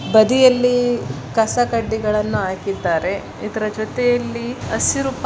ಬದಿಯಲ್ಲಿ ಕಸ ಕಡ್ಡಿಗಳನ್ನು ಹಾಕಿದ್ದಾರೆ. ಇದರ ಜೊತೆಯಲ್ಲಿ ಹಸಿರು